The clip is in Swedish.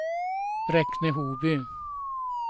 Bräkne-Hoby